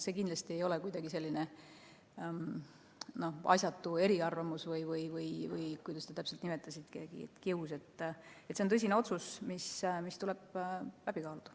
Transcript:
See kindlasti ei ole kuidagi asjatu eriarvamus või, kuidas te täpselt nimetasitegi, kius, vaid see on tõsine otsus, mis tuleb läbi kaaluda.